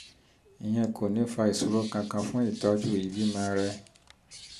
ìyẹn kò ní fa ìṣòro kankan fún ìtọ́jú ìbímọ rẹ